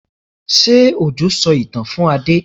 Ṣé Òjó sọ ìtàn fún Adé?